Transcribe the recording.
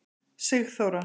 Sigþóra